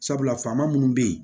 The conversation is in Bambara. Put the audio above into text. Sabula faama minnu bɛ yen